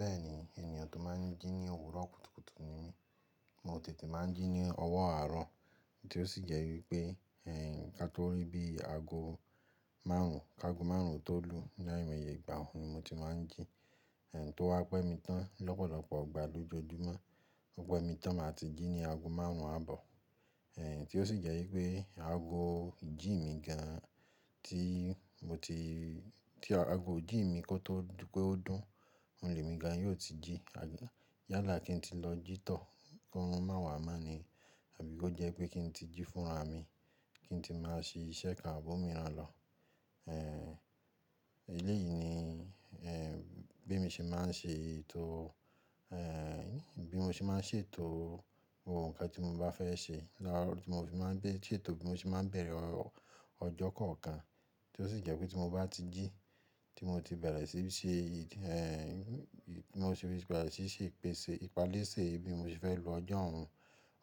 Bẹ́ẹ̀ni, ènìyàn tó máa n jí ní òwúrọ̀ kùtùkùtù ni mí. Mo tètè máa n jí ní ọwọ́ àárọ̀ tí ó sì jẹ́ wípé, ẹ̀, kí n tó rí bí ago máàrún, kágo márùn tọ́ lù ní àìmọye ìgbà òún ni mo ti máa n jí. Ẹ̀, tó wá pẹ́ mi tán lọ́pọ̀lọpọ̀ ọgbà lójoojúmọ́. Ó pẹ́ mi tán màá tí jí ní ago márùn ún ààbọ̀. Ẹ̀, tí ó sì jẹ́ wípé ago jí mi gan an tí mo ti-- tí ago jí mi kó tó pé ó dùn, ohun lè mi gan yóò ti jí. Yálà kí n ti lọ jítọ̀ kó rù má wà máàní àbí kó jẹ́ pé kí n ti jí fúnra mi, kí n ti máa ṣe iṣẹ́ kan ààbò mi rán lọ. Ẹ̀, eléyìí ni, ẹ́, bí mi ṣe máa n ṣe ètò, ẹ́, bí mo ṣe máa n ṣètò ohun kan tí mo bá fẹ́ ṣe. Láàárọ̀ tí mo bá máa n bẹ-- ṣètò bí mo ṣe máa bẹ̀rẹ̀ ọjọ́ kọ̀ọ̀kan tí ó sì jẹ́ pé tí mo bá ti jí tí mo ti bẹ̀rẹ̀ sí í ṣe, ẹ́, tí mo ṣe bẹ̀rẹ̀ sí í ṣe ìpese, ìpalésè bí mo ṣe fẹ́ lo ọjọ́ òun,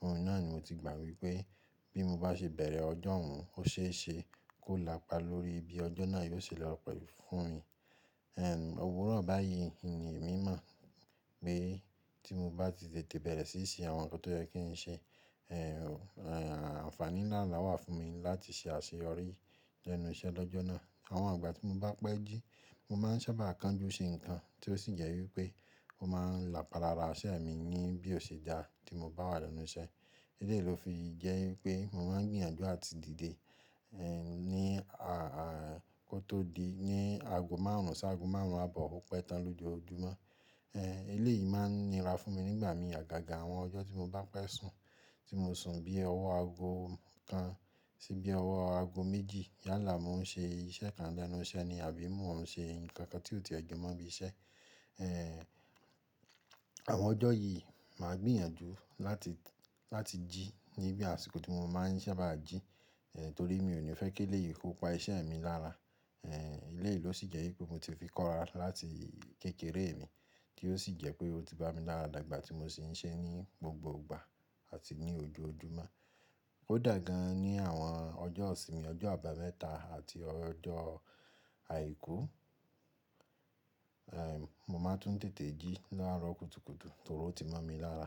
ohun náà ni mo ti gbà wípé bí mo bá ṣe bẹ̀rẹ̀ ọjọ́ òun ó ṣe é ṣe kó làpa lórí bí ọjọ́ náà yóò ṣe lọ pẹ̀ fún mi. Ẹ̀, Òwúrọ̀ báyìí nì emi mọ̀ pé tí mo bá ti tètè bẹ̀rẹ̀ sí í ṣe àwọn nǹkan tó yẹ kí n ṣe, ẹ́, àǹfàní ńlá la wà fún mi láti ṣe àṣeyọrí lẹ́nu iṣẹ́ lọ́jọ́ náà. Àwọn ìgbà tí mo bá pẹ́ jí, mo máa n sábà kánjú ṣe nǹkan tí ó sì jẹ́ wípé mo máa n làpálára iṣẹ́ mi ní bí ó ṣe dà tí mo bá wà lẹ́nu iṣẹ́. Eléyìí ló fi jẹ́ wípé mo máa n gbìyànjú àti dìde, ẹ́, ní a, kó tó di ní ago márùn ún sí ago márùn ún ààbọ̀ ó pẹ́ tán lójoojúmọ́. Ẹ́, eléyìí máa n nira fún mi nígbà mi àgàgà àwọn ọjọ́ tí mo bá pẹ́ sùn tí mo sùn bí ọwọ́ ago kan sí bí ọwọ́ ago méjì. Yálà mo n ṣe iṣẹ́ kan lẹ́nu iṣẹ́ ni àbí mo n ṣe nǹkan kan tí ò ti ẹ̀ jẹ́ mọ́ bí iṣẹ́. Ẹ́, àwọn ọjọ́ yìí màá gbìyànjú láti, láti jí ní bí àsìkò tí mo máa n sábà jí, ẹ́, torí mi ò ní fẹ́ kẹ́ léyìn kó pa iṣẹ́ mi lára. Ẹ́, eléyìí ló sì jẹ́ wípé mo ti fi kọ́ra láti kékeré mi tí ó sì jẹ́ pé ó ti bá mi láradàgbà tí mo sì n ṣe é ní gbogbo ìgbà àti ní ojoojúmọ́. Ó dà gan an ní àwọn ọjọ́ òsì mi, ọjọ́ àbámẹ́ta àti ọjọ́ àìkú, ẹ́, mo máa tún tètè jí láàárọ̀ kùtùkùtù torí ó ti mọ́ mi lára.